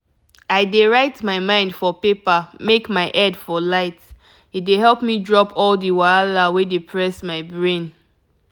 i dey write my mind for paper make my head for light e dey help me drop all the wahala wey dey press my brain.